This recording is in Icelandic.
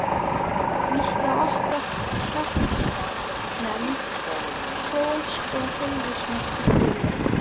Víst á okkar hreppsnefnd hrós og heiðursmerki skilið.